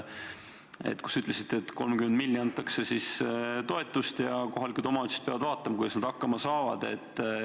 Te ütlesite, et 30 miljonit antakse toetust ja kohalikud omavalitsused peavad vaatama, kuidas nad hakkama saavad.